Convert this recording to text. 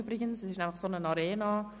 Wir befinden uns in einer Arena.